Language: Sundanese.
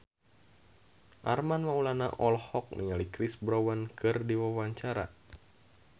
Armand Maulana olohok ningali Chris Brown keur diwawancara